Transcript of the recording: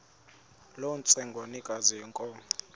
loo ntsengwanekazi yenkomo